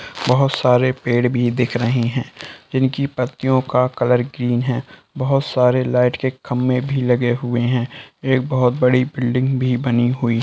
बहुत सारे पेड़ भी दिख रहे हैं जिनकी पत्तियों का कलर ग्रीन है बहुत सारे लाइट के खंबे भी लगे हुए हैं एक बहुत बड़ी बिल्डिंग भी बनी हुई --